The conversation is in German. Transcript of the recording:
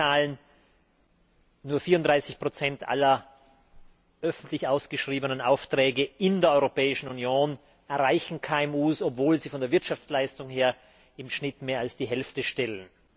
Sie kennen die Zahlen Nur 34 aller öffentlich ausgeschriebenen Aufträge in der Europäischen Union erreichen KMU, obwohl sie von der Wirtschaftsleistung her im Schnitt mehr als die Hälfte stellen.